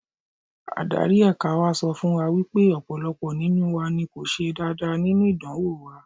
Adarí ẹ̀ka wa sọ fún wa wípé ọ̀pọ̀lọpọ̀ nínú wa ni kò ṣe dáadáa nínú ìdánwò wa.